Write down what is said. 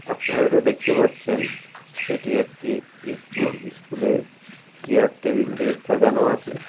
আপনার এটা দেখতে পাচ্ছেন এটি একটি ইস্কুল ইস্কুল এ চেয়ার টেবিল দিয়ে সাজানো আছে ।